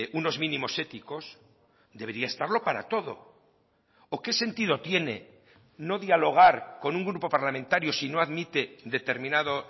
unos mínimos éticos debería estarlo para todo o qué sentido tiene no dialogar con un grupo parlamentario si no admite determinado